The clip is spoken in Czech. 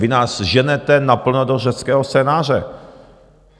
Vy nás ženete naplno do řeckého scénáře!